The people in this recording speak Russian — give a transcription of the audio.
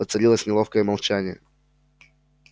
воцарилось неловкое молчание